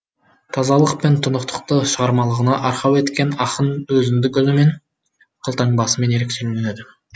тазалық пен тұнықтықты шығармашылығына арқау еткен ақын өзіндік үнімен қолтаңбасымен ерекшеленеді